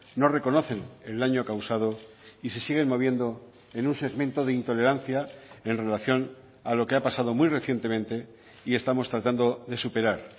no reconocen el daño causado y se siguen moviendo en un segmento de intolerancia en relación a lo que ha pasado muy recientemente y estamos tratando de superar